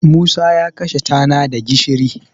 Musacya kashe tana da gishiri.